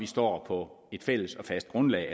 står på et fælles og fast grundlag